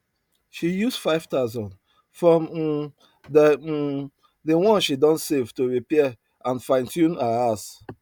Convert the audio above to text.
she use 5000 from um the um the one she don save to repair and finetune her house